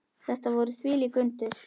Þetta voru þvílík undur.